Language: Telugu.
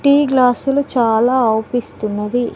టీ గ్లాసు లు చాలా ఆపిస్తున్నది.